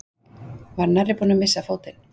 Var nærri búinn að missa fótinn